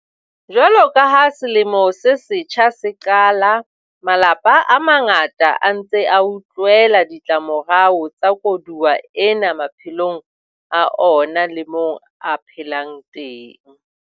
Jwalo ka ha selemo se setjha se qala, malapa a mangata a ntse a utlwela ditlamorao tsa koduwa ena maphelong a ona le moo a phelang teng.